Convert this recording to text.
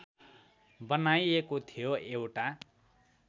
बनाइएको थियो एउटा